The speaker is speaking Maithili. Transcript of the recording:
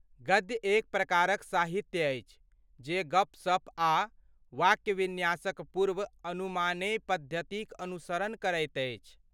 गद्य एक प्रकारक साहित्य अछि जे गपसप आ वाक्य विन्यासक पूर्व अनुमानेय पद्धतिक अनुसरण करैत अछि।